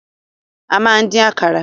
A máa ń dín àkàrà.